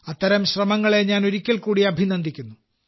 അത്തരം ശ്രമങ്ങളെ ഞാൻ ഒരിക്കൽ കൂടി അഭിനന്ദിക്കുന്നു